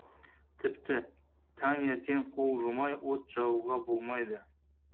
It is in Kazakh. тіпті таңертең қол жумай от жағуға болмайды